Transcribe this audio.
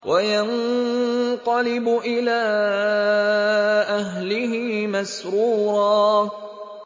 وَيَنقَلِبُ إِلَىٰ أَهْلِهِ مَسْرُورًا